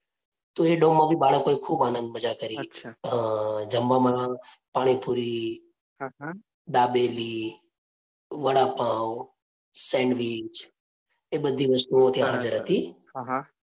તો એ માંથી બાળકોએ ખૂબ આનંદ મજા કરી. અ જમવામાં પાણીપુરી, દાબેલી, વડાપાઉં, સેન્ડવીચ એ બધી વસ્તુઓ ત્યાં હાજર હતી.